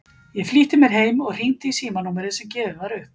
Ég flýtti mér heim og hringdi í símanúmerið sem gefið var upp.